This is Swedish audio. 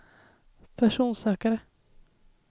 personsökare